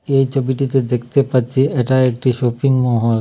এই ছবিটিতে দেখতে পাচ্ছি এটা একটি শপিংমহল ।